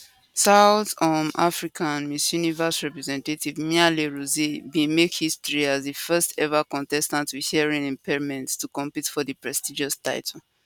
south um africa miss universe representative mia le roux bin make history as di firstever contestant with hearing impairment to compete for di prestigious title